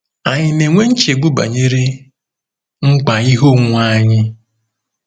Ànyị na-enwe nchegbu banyere mkpa ihe onwunwe anyị?